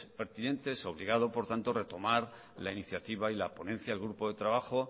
pertinente y obligado por tanto retomar la iniciativa y la ponencia del grupo de trabajo